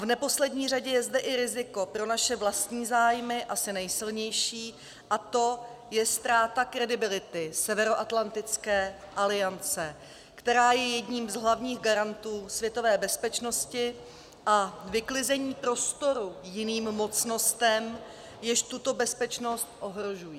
V neposlední řadě je zde i riziko pro naše vlastní zájmy asi nejsilnější, a to je ztráta kredibility Severoatlantické aliance, která je jedním z hlavních garantů světové bezpečnosti, a vyklizení prostoru jiným mocnostem, jež tuto bezpečnost ohrožují.